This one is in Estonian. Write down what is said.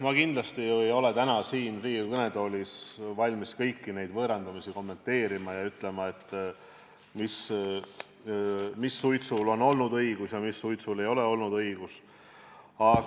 Ma kindlasti ei ole täna siin Riigikogu kõnetoolis valmis kõiki neid võõrandamisjuhtumeid kommenteerima ja ütlema, mis suitsul on olnud õigus ja mis suitsul ei ole olnud õigus.